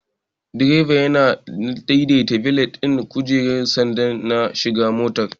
Direban yana daidaita belet ɗin kujerar sanda na shiga motar.